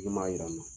Min b'a yira n na